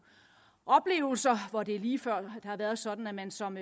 oplevelser hvor det er lige før at det har været sådan at man som